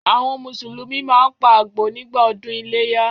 Àwọn Mùsùlùmí máa ń pa àgbò nígbà ọdún iléyá.